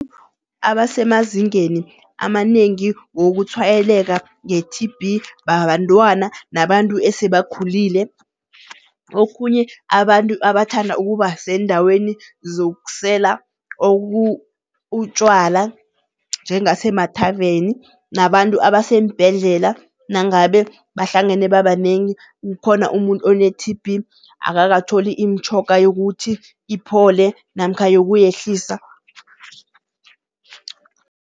Abasemazingeni amanengi wokutshwayeleka nge-T_B bantwana nabantu esebakhulile. Okhunye abantu abathanda ukuba seendaweni zokusela utjwala njengasemathaveni nabantu abaseembhedlela. Nangabe bahlangene babanengi, kukhona umuntu one-T_B akakatholi imitjhoga yokuthi iphole namkha yokuyehlisa.